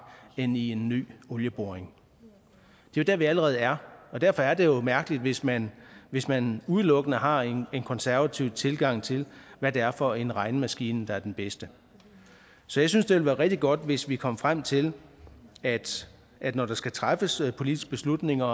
end i en ny olieboring det er der vi allerede er og derfor er det jo mærkeligt hvis man hvis man udelukkende har en konservativ tilgang til hvad det er for en regnemaskine der er den bedste så jeg synes det ville være rigtig godt hvis vi kom frem til at når der skal træffes politiske beslutninger